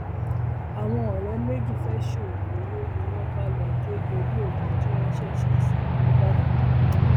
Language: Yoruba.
àwọn ọrẹ méjì fẹẹ ṣoògùn owó ni wọn bá lọọ gé orí òkú tí wọn ṣẹṣẹ sin nígbàdàn